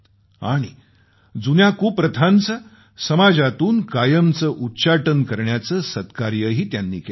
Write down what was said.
आणि जुन्या कुप्रथांचे समाजातून कायमचं उच्चाटन करण्याचं सत्कार्यही त्यांनी केलं